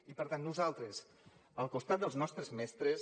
i per tant nosaltres al costat dels nostres mestres